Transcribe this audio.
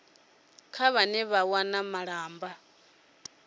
kha vhane vha wana malamba